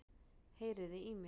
Heyriði í mér?